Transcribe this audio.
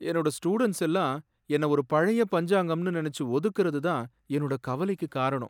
என்னோட ஸ்டூடண்ட்ஸ்லாம் என்ன ஒரு பழைய பஞ்சாங்கம்ன்னு நினைச்சு ஒதுக்கறது தான் என்னோட கவலைக்கு காரணம்.